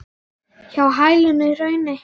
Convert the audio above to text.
Hjá hælinu í hrauni.